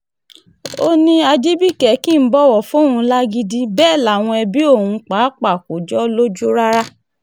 ó ní ajibike kì í bọ̀wọ̀ fóun ò lágídí um bẹ́ẹ̀ làwọn ẹbí òun um pàápàá kò jọ ọ́ lójú rárá